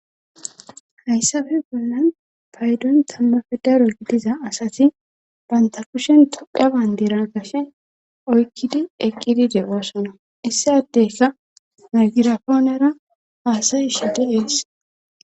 Hayssafe bollan paydon tammafe daro gidiza asati banta kushen toqa bayndira kashe oykkidi eqqidi de oosona issa tdeyka migirapoonera haasayi shide ees.